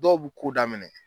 Dɔw bu ko daminɛ.